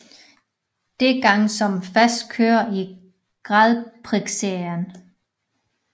Dette gang som fast kører i gradprixserien